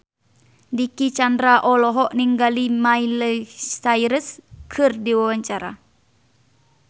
Dicky Chandra olohok ningali Miley Cyrus keur diwawancara